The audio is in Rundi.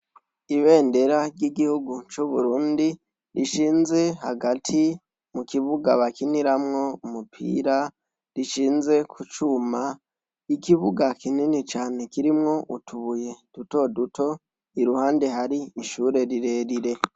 Ibendera ry’igihugu c’uburundi, rishinze hagati mukibuga bakiniramwo umupira rishinze kucuma, ikibuga kinini cane kirimwo utubuye duto duto iruhande hari ishure rirerire.